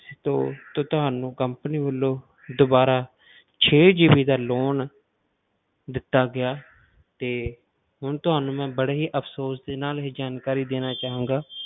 ਤੇ ਤੇ ਤੁਹਾਨੂੰ company ਵੱਲੋਂ ਦੁਬਾਰਾ ਛੇ GB ਦਾ loan ਦਿੱਤਾ ਗਿਆ ਤੇ ਹੁਣ ਮੈਂ ਤੁਹਾਨੂੰ ਬੜੇ ਹੀ ਅਫਸ਼ੋਸ਼ ਦੇ ਨਾਲ ਇਹ ਜਾਣਕਾਰੀ ਦੇਣਾ ਚਾਹਾਂਗਾ,